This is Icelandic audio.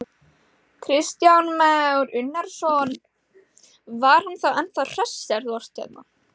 Kristján Már Unnarsson: Var hann þá ennþá hress þegar þú ert hérna?